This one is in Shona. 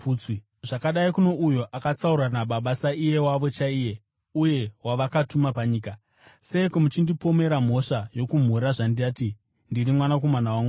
zvakadii kuno uyo akatsaurwa naBaba saiye wavo chaiye uye wavakatuma panyika? Seiko muchindipomera mhosva yokumhura, zvandati, ‘Ndiri Mwanakomana waMwari’?